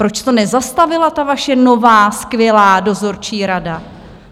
Proč to nezastavila ta vaše nová skvělá dozorčí rada?